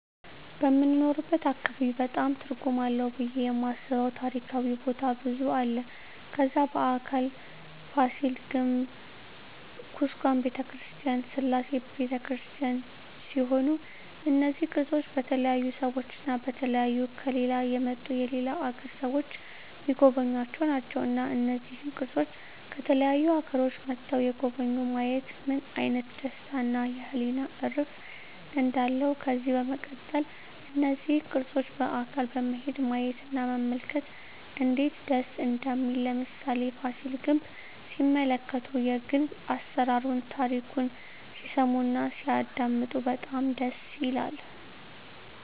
በምንኖርበት አካባቢ በጣም ትርጉም አለው ብየ የማስበው ታሪካዊ ቦታ ብዙ አለ ከዛ በአካል ፋሲል ግንብ ኩስካም በተክርስቲያን ስላሴ በተክርስቲያን ሲሆኑ እነዚ ቅርሶች በተለያዩ ሰዎች እና በተለያዩ ከሌላ የመጡ የሌላ አገር ሰዎች ሚጎበኙአቸው ናቸው እና እነዚህን ቅርሶች ከተለያዩ አገሮች መጥተዉ የጎበኙ ማየት ምን አይነት ደስታ እና የህሊና እርፍ እንዳለው ከዚህ በመቀጠል እነዚህን ቅርሶች በአካል በመሄድ ማየት እና መመልከት እነዴት ደስ እንደሚል ለምሳሌ ፋሲል ግንብ ሲመለከቱ የግንብ አሰራሩን ታሪኩን ሲሰሙ እና ሲያደመጡ በጣም ደስ ይላል